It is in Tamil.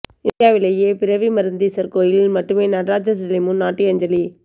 இந்தியாவிலேயே பிறவி மருந்தீசர் கோயிலில் மட்டுமே நடராஜர் சிலை முன் நாட்டியாஞ்சலி